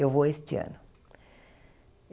Eu vou este ano.